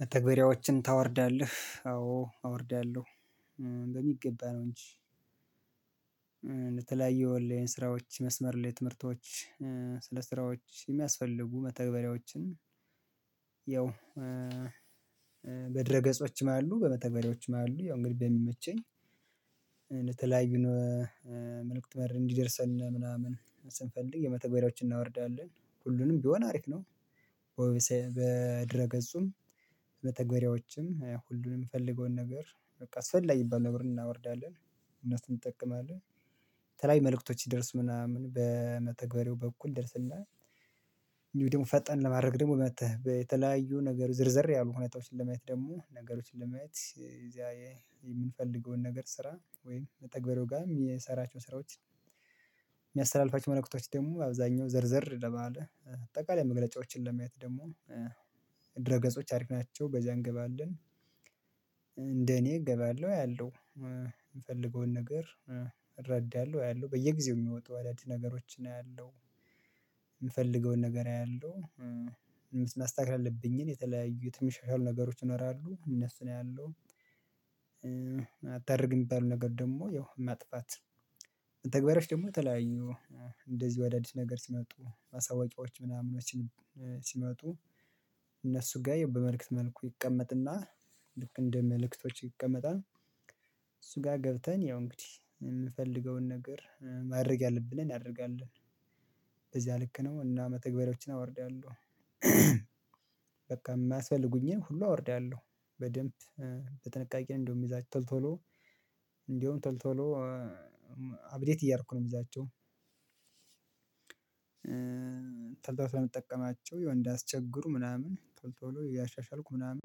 መተግበርያዎችን ታወርዳለህ? አዎ አወርዳለሁ። በሚገባ ነው እንጂ ለተለያዩ ኦንላይን ስራዎች፤ የመስመር ላይ ትምህርቶች፤ ለስራዎች የሚያስፈልጉ መተግበርያዎችን ያው በድረ ገጾችም አሉ። በመተገሪያዎችም አሉ። እንግዲህ በሚመቸኝ እንደተለያዩ መልእክት መር እንዲደርሰን ምናምን ስንፈልግ የመተግበሪያዎችን እናወርዳለን። ሁሉንም ቢሆን አሪፍ ነው። በድረ ገጹም መተገሪያዎችም ሁሉንም የምፈልገውን ነገር በቃ አስፈጊ የሚባል ነገር እናወርዳለን እነሱን እንጠቀማለን። ከላይ መልእክቶች ስደርሱ ምናምን በመተግበርያው በኩል ይደርሰናል። ደግሞ ፈጠን ለማድረግ ደግሞ መጥተህ በተለያዩ ነገር ዝርዝር ያሉ እውነታዎችን ለማየት ደግሞ ነገሮችን ለማየት እዚያ የምንፈልገውን ነገር ስራ ወይም መተግበርያው ጋር የምንሰራችውን ስራዎች የሚያስተላልፋቸዉን መልእክቶች ደግሞ አብዛኛው ዘርዘር ባለ አጠቃላይ መግለጫዎችን ለማየት ደግሞ ድረ ገጾች አሪፍ ናቸው። በዚያ እንገባለን እንደ እኔ እገባለሁ አያለሁ የምፈልገውን ነገር እረዳለሁ አያለሁ በየጊዜው የሚወጡ አዳዲስ ነገሮችን አያለሁ። የምፈልገውን ነገር አያለሁ ማስተካከል ያለብኝን የተለያዩ የተሻሻሉ ነገሮች ይኖራሉ እነሱን አያለሁ። አታርግ የሚባለው ነገር ደግሞ ያው ማጥፋት ተግባራች ደግሞ ተለያዩ እንደዚህ አዳዲስ ነገር ሲመጡ ማሳወጫዎች ምናምኖችን ሲመጡ እነሱ ጋር የበመልእክት መልኩ ይቀመጥና ልክ እንደ መልእክቶች ይቀመጣል። እሱ ጋር ገብተን ያው እንግዲህ የምፈልገውን ነገር ማድረግ ያለብንን እናደርጋለን። በዚያ ልክ ነው እና መተግበሪያዎችን አወርዳለሁ። በቃ የሚያስፈልጉኝን ሁሉ አወርዳለሁ። በደንብ በጠቃቄ ነው እንደቁም የምይዛቸው ቶሎ ቶሎ እንደውም ቶሎ ቶሎ አብዴት እይደርኳቸው ነው የምይዛቸው። ቶሎ ቶሎ ስለመጠቀማቸው ያው እንዳያስቸግሩ ምናምን ቶሎ ቶሎ እያሻሻልኩ ምናምን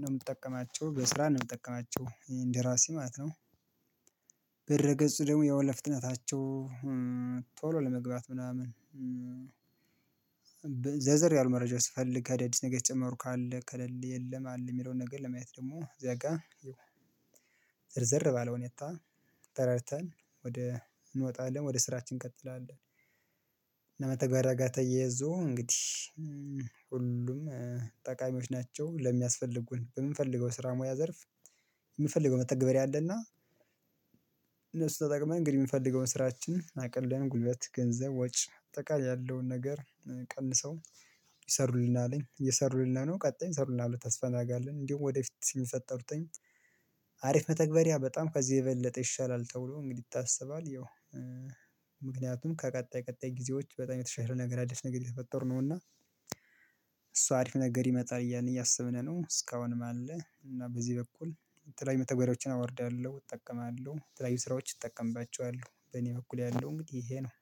ነው የምጠቀማቸው። በስርዓት ነው የምጠቀማቸው እንደራሴ ማለት ነው። በድረ ገጹ ደግሞ ያው ለፍጥታቸው ቶሎ ለመግባት ምናምን አንዳንድ መረጃዎች ስፈልግ አዳዲስ ነገር የተጨመሩ ካለ ከሌለ የለም አለ የሚለውን ነገር ለማየት ደግሞ እዚያ ጋር ዘርዘር ባለ ሁታ ተረድተን ወደ እንወጣለን ወደ ስራችን እንቀጥላለን። መተግበርያ ጋር ተያይዞ እንግዲህ ሁሉም ጠቃሚዎዎች ናቸው። ለሚያስፈልጉን በምንፈልገው ስራ ሙያ ዘርፍ የምንፈልገው መተግበሪያ አለና እነሱን ተጠቅመን እንግዲህ የምፈልገውን ስራችን አቅለን ጉልበት ገንዘብ ወጪ አጠቃላይ ያለውን ነገር ቀንሰው ይሰሩልናን እየሰሩልን ነው ቀጣይ ይሰሩልናል ብለን ተስፋ እናደርጋለን። እንዲሁ ወደፊት የሚፈጥሩት አሪፍ መተግበሪያ በጣም ከዚህ የበለጠ ይሻላል ተብሎ እንግዲህ ይታሰባል። ያው ምክንያቱም ከቀጣይ ቀጣይ ጊዜዎች በጣም የተሻለ ነገር አዲስ ነገር የተፈጠሩ ነው እና እሱ አሪፍ ነገር ይመጣል እያለ እያሰብን ነው እስካሁን አለ እና በዚህ በኩል የተለያዩ መተግበርያዎችን አወርዳለሁ እጠቀማለሁ። ለተለያዩ ስራዎች እጠቀምባቸዋለሁ። በእኔ በኩል ያለው እንግዲህ ይሄ ነው።